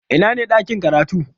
Ina ne ɗakin karatu?